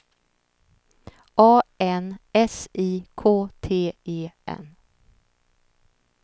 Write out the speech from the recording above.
A N S I K T E N